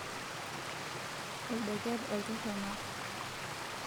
oldeket oltorrono